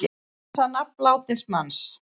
Vilja hreins nafn látins manns